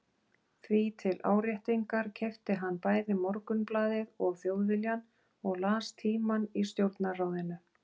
Því til áréttingar keypti hann bæði Morgunblaðið og Þjóðviljann og las Tímann í stjórnarráðinu.